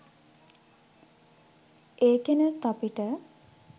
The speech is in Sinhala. ඒකෙනුත් අපිට